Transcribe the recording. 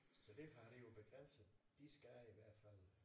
Så derfor er det jo begrænset de skal i hvert fald